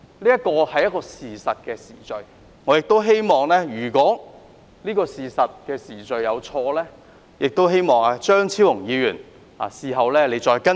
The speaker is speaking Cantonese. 這是確實的時序，我希望如果這時序有錯，張超雄議員事後可以再更正。